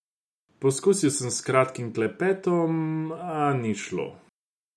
Poskusil sem s kratkim klepetom, a ni šlo.